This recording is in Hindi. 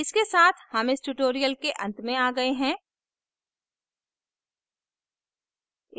इसके साथ हम इस tutorial के अंत में आ गए हैं